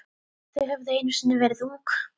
Þau höfðu einu sinni verið ung.